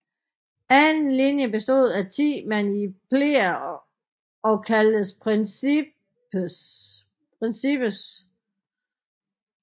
Anden linje bestod af 10 manipler og kaldtes principes